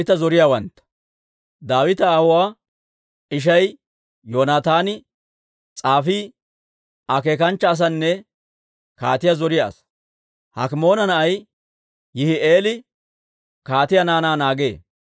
Daawita aawuwaa ishay Yoonataani s'aafii, akeekanchcha asanne kaatiyaa zoriyaa asaa. Hakimoona na'ay Yihi'eeli kaatiyaa naanaa naagee.